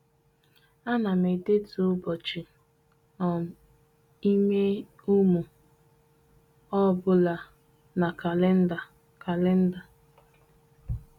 A na m edetu ụbọchị um ime ụmụ ọ bụla na kalenda. kalenda.